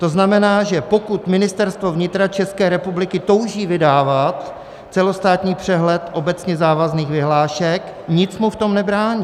To znamená, že pokud Ministerstvo vnitra České republiky touží vydávat celostátní přehled obecně závazných vyhlášek, nic mu v tom nebrání.